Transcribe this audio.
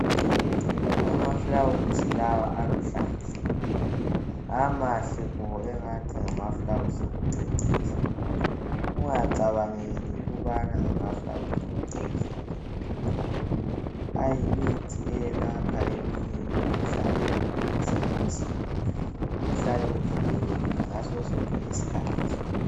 Amafulawuzi lawa aluhlaza amahle bo angathi ngamafulawuzi okucecisa. Ungacabangeli ukubana ngamafulawuzi okucecisa nje kuphela ayimithi eyelapha eminye imikhuhlane ukuze umzimba uhlale uvikelekile ngaso sonke isikhathi.